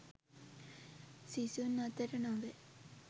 සිසුන් අතර නොවේ.